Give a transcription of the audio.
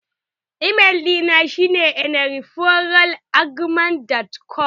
Email ɗina shi ne eneyeforall@gmail.com